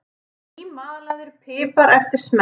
nýmalaður pipar eftir smekk